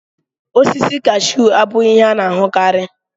Osisi kashu abụghị ihe a na-ahụkarị.